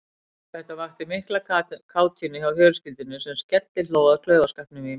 Þetta vakti mikla kátínu hjá fjölskyldunni sem skellihló að klaufaskapnum í mér.